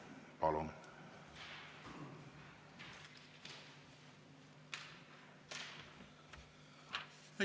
Palun!